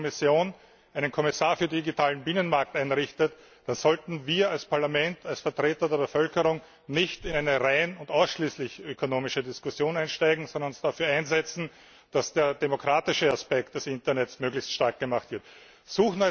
Wenn die Kommission einen Kommissar für digitalen Binnenmarkt ernennt, dann sollten wir als Parlament, als Vertreter der Bevölkerung, nicht in eine rein und ausschließlich ökonomische Diskussion einsteigen, sondern uns dafür einsetzen, dass der demokratische Aspekt des Internets möglichst stark zur Geltung kommt.